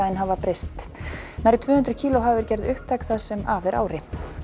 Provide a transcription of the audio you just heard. hafa breyst nærri tvö hundruð kíló hafa verið gerð upptæk það sem af er ári